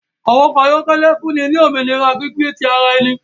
Àwọn ọkọ ayọkẹlẹ fúnni ni òmìnira gbígbé ti àrà ẹni